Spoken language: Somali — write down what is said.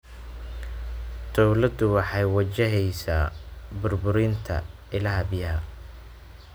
Dawladdu waxay wajaheysaa burburinta ilaha biyaha.